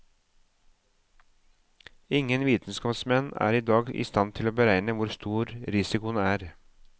Ingen vitenskapsmenn er i dag i stand til å beregne hvor stor risikoen er.